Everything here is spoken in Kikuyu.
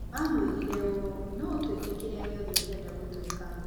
Maamwĩrire ũũ: "No ũtuĩke kĩrĩa gĩothe ũngĩenda gũtuĩka".